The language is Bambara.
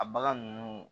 A bagan ninnu